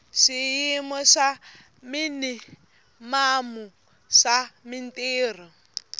swiyimo swa minimamu swa mintirho